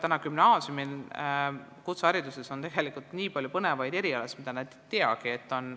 Kutsehariduses on nii palju põnevaid erialasid, mida noored inimesed ei teagi.